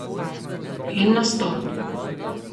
En nastop ...